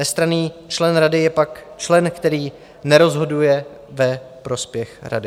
Nestranný člen rady je pak člen, který nerozhoduje ve prospěch rady.